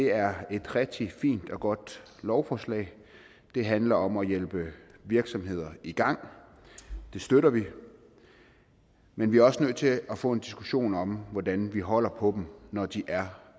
er et rigtig fint og godt lovforslag det handler om at hjælpe virksomheder i gang det støtter vi men vi er også nødt til at få en diskussion om hvordan vi holder på dem når de er